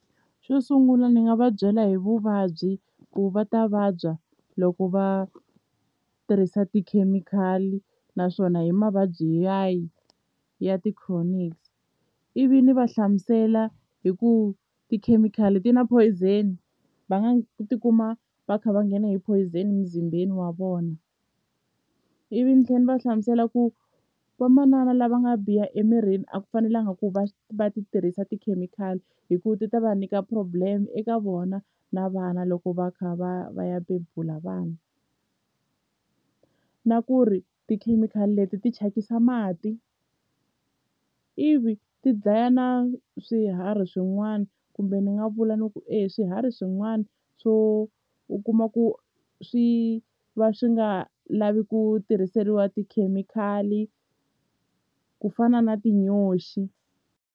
Xo sungula ndzi nga va byela hi vuvabyi ku va ta vabya loko va tirhisa tikhemikhali naswona hi mavabyi ya yi ya ti-chronics ivi ni va hlamusela hi ku tikhemikhali ti na phoyizeni va nga tikuma va kha va nghena hi phoyizeni emuzimbeni wa vona ivi ni tlhela ni va hlamusela ku vamanana lava nga biha emirini a ku fanelanga ku va va ti tirhisa tikhemikhali hi ku ti ta va nyika problem eka vona na vana loko va kha va ya va ya bebula vana na ku ri tikhemikhali leti ti thyakisa mati ivi ti dlaya na swiharhi swin'wana kumbe ni nga vula ni ku e swiharhi swin'wana swo u kuma ku swi va swi nga lavi ku tirhiseriwa tikhemikhali ku fana na tinyoxi.